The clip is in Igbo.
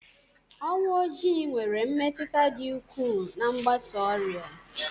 Ọnwụ Ojii nwere mmetụta dị ukwuu na mgbasa ọrịa